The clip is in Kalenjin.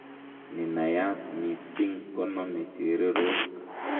Nenayat missing konome chererok.